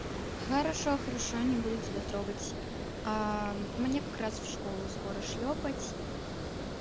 хорошо хорошо не буду тебя трогать мне как раз в школу скоро шлёпать